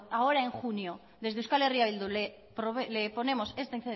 ahora en junio desde euskal herria bildu le ponemos esta